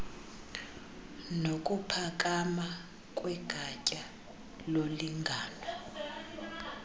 nokuphakama kwegatya lolingano